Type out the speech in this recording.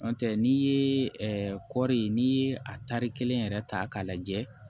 N'o tɛ n'i ye kɔri n'i ye a tari kelen yɛrɛ ta k'a lajɛ